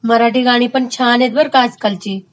मराठी गाणीपण खूपच छान आहेत बर का आज कालची